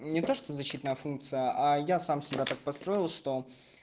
не то что защитная функция а я сам себя так построил что